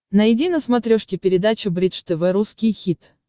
найди на смотрешке передачу бридж тв русский хит